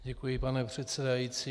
Děkuji, pane předsedající.